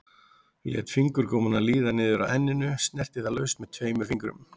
Lét fingurgómana líða niður að enninu, snerti það laust með tveimur fingrum.